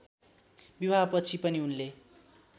विवाहपछि पनि उनले